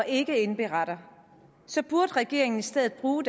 ikke indberetter så burde regeringen i stedet bruge